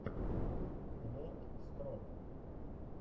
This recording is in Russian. лорд скроп